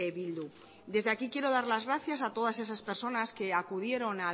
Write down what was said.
bildu desde aquí quiero dar las gracias a todas esas personas que acudieron